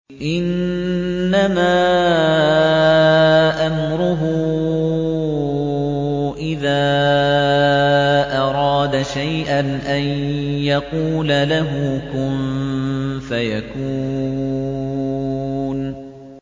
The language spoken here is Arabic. إِنَّمَا أَمْرُهُ إِذَا أَرَادَ شَيْئًا أَن يَقُولَ لَهُ كُن فَيَكُونُ